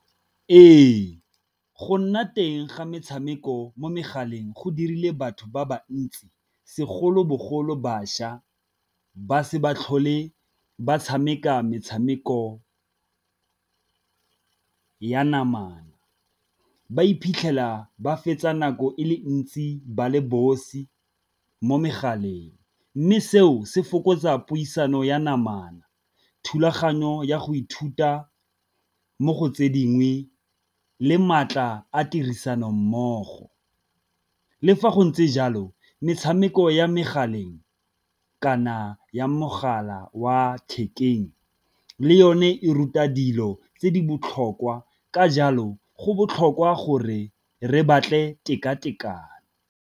Ee, go nna teng ga metshameko mo megaleng go dirile batho ba ba ntsi segolobogolo bašwa ba se ba tlhole ba tshameka metshameko ya namana, ba iphitlhela ba fetsa nako e le ntsi ba le bosi mo megaleng. Mme seo se fokotsa puisano ya namana, thulaganyo ya go ithuta mo go tse dingwe le maatla a tirisano mmogo. Le fa go ntse jalo metshameko ya megaleng kana ya mogala wa thekeng le yone e ruta dilo tse di botlhokwa ka jalo go botlhokwa gore re batle tekatekano.